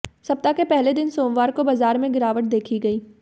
सप्ताह के पहले दिन सोमवार को बाजार में गिरावट देखी गई